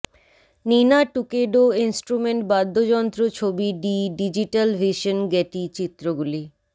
নিনা টুকেডো ইন্সট্রুমেন্ট বাদ্যযন্ত্র ছবি ডি ডিজিটাল ভিশন গেটি চিত্রগুলি